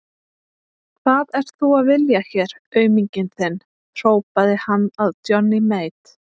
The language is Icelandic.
Hvað ert þú að vilja hér auminginn þinn, hrópaði hann að Johnny Mate.